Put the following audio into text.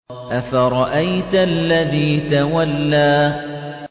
أَفَرَأَيْتَ الَّذِي تَوَلَّىٰ